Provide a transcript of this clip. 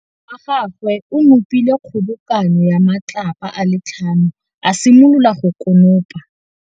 Morwa wa gagwe o nopile kgobokanô ya matlapa a le tlhano, a simolola go konopa.